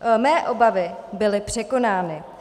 Mé obavy byly překonány.